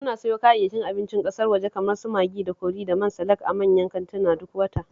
Muna sayo kayayyakin abincin ƙasar waje kamar su Magi da kori da man salak a manyan kantina duk wata